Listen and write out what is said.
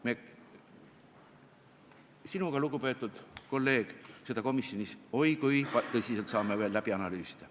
Me sinuga, lugupeetud kolleeg, saame seda komisjonis oi kui tõsiselt veel läbi analüüsida.